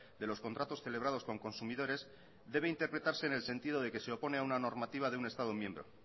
de los contratos celebrados con consumidores debe interpretarse en el sentido de que se opone a una normativa de un estado miembro